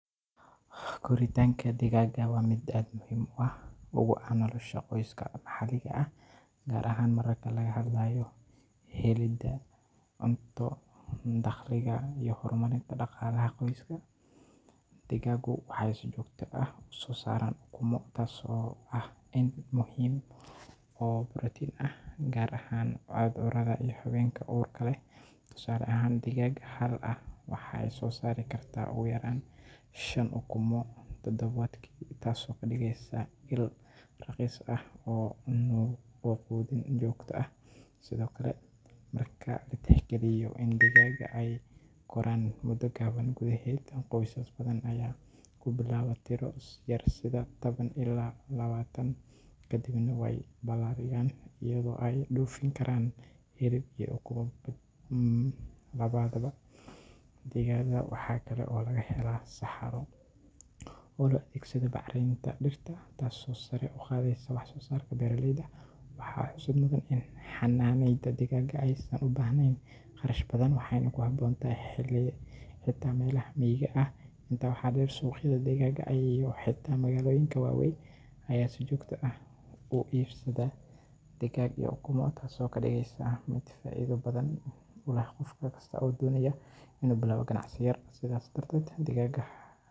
koritanka digaaga wa mid muhim u ah nolosha qoyska maxaliga ah, gaar ahaan mararka laga hadlayo helida cunto, dakhliga, iyo horumarinta dhaqalaha qoyska. digaaga waxa uu si joogto ah u soo saaraa ukumo, taasoo muhim u ah dadka, waxa laga hela protein. tusale ahaan, digaag hal ah waxay u soo saari kartaa ugu yaraan shan ukumo todobaadki, taasoo ka dhigeyso ilo raqiis ah oo cunto ah.sidoo kale, dadka ayaa tixgaliya in digaaga ay koran mudo kooban gudaheed. qoysas badan ayaa ku bilaabo tiro yar, toban ilaa labaatan, kadibna way balaariyaan, ayagoo ay dhoofin karaan hilib iyo ukumo. digaaga waxa kale oo laga hela saxaro sida bacarinta dhirta kor u qaado, taasoo kor u qaado wax soo sarka beeraleyda. waxa xusid mudan in xanaaneynta digaaga u baahnayn qarash badan, waxayna ku habboon tahay xilli walba—xitaa meelaha miyiga waa lagu xanaanin karaa, xitaa magaalooyinka waaweyn ayaa iibsado ukumo, taasoo ka dhigeyso digaaga mid faa’iido badan.